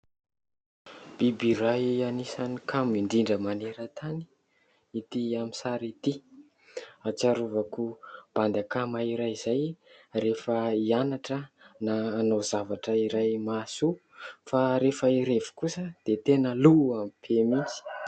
Biby iray anisan'ny kamo indrindra maneran-tany ity amin'ny sary ity. Ahatsiarovako bandy akama iray izay rehefa hianatra na hanao zavatra iray mahasoa, fa rehefa hirevy kosa dia tena lohany be mihitsy.